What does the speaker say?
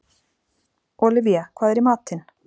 Olivia, hvað er í matinn?